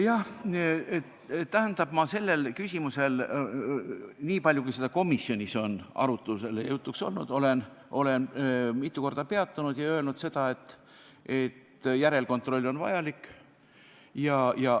Ma olen sellel küsimusel, niipalju kui see komisjonis arutuse all ja jutuks on olnud, mitu korda peatunud ja öelnud seda, et järelkontroll on vajalik.